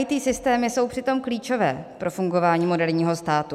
IT systémy jsou přitom klíčové pro fungování moderního státu.